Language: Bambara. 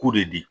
K'u de di